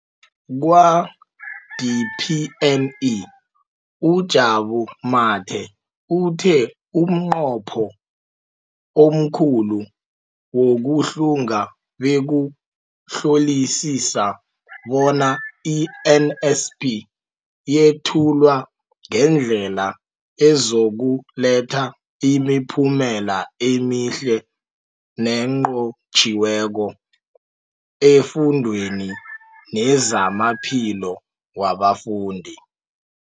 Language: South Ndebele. Kwa-DPME, uJabu Mathe, uthe umnqopho omkhulu wokuhlunga bekukuhlolisisa bona i-NSNP yethulwa ngendlela ezokuletha imiphumela emihle nenqotjhiweko efundweni nezamaphilo wabafundi.